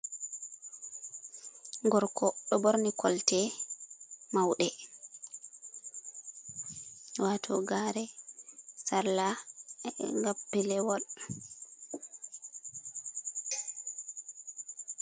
Gorko. Ɗo Ɓorni Colte Mauɗe Wato Gare, Sarla, Gappelewol.